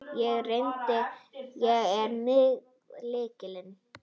Ég er með lykil.